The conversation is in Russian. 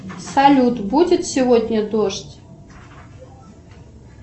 салют будет сегодня дождь